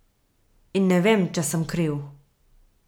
In ne vem, če sem kriv.